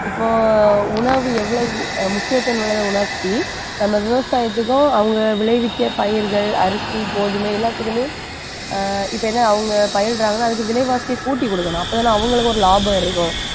இப்போ உணவு எவ்வளவு முக்கியத்துவம் உள்ளதை உணர்த்தி நம்ம விவசாயத்துக்கும் அவங்க விளைவிக்க பயிர்கள் அரிசி, கோதுமை எல்லாத்துக்குமே அஹ் இப்ப என்ன அவங்க பயிரிடறாங்கன்னா அதுக்கு விலைவாசியை கூட்டி குடுக்கணும் அப்பதானே அவங்களுக்கு ஒரு லாபம் இருக்கும்